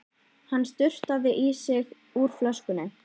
Hann sturtaði í sig úr flöskunni.